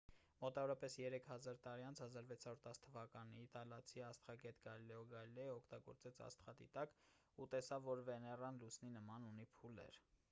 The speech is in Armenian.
մոտավորապես երեք հազար տարի անց 1610 թ իտալացի աստղագետ գալիլեո գալիլեյը օգտագործեց աստղադիտակ ու տեսավ որ վեներան լուսնի նման ունի փուլեր